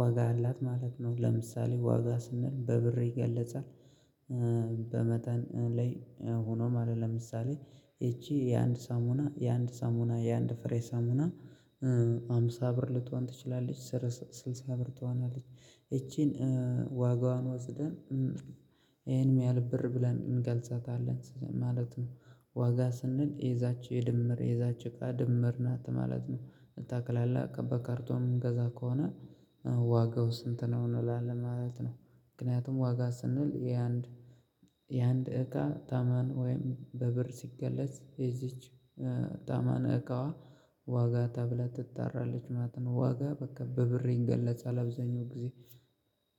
ዋጋ አላት ማለት ነው ለምሳሌ ዋጋ ስንል በብር ይገለጻል በመጠን ላይ ሆኖም አለ ለምሳሌ ይቺ የአንድ ሳሙና የአንድ ሳሙና የአንድ ፍሬ ሳሙና ሃምሳ ብር ልትሆን ትችላለች ስልሳ ብር ልትሆንም ይቺን ዋጋዋን ወስደን ይሄን ያህል ብር ብለን እንገልጻታለን ማለት ነው ዋጋ ስንል የዛች የድምር የዛች እቃ ድምር ናት ማለት ነው በጠቅላላ በካርቶን የምንገዛ ከሆነ ዋጋው ስንት ነው እንላለን ማለት ነው ምክንያቱም ዋጋ ስንል የአንድ የአንድ እቃ ተመን ወይም በብር ሲገለጽ የዚች ተመን እቃ ዋጋ ተብላ ትጠራለችማለት ነው። ዋጋ በቃ በብር ይገለጻል አብዛኛውን ጊዜ